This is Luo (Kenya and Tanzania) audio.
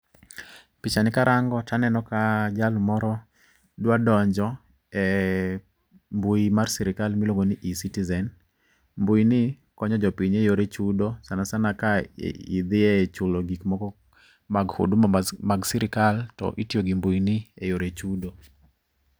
Picha ni karango to aneno ka jal moro dwa donjo e mbui mar sirikal miluongo ni e-citizen. Mbui ni konyo jo piny e yore chudo sana sana ka idhiye chulo gik moko mag huduma mag sirikal to itiyo gi mbui ni eyore chudo